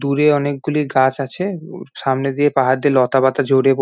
দূরে অনেকগুলি গাছ আছে। উর সামনে দিয়ে পাহাড় দিয়ে লতাপাতা জড়িয়ে প--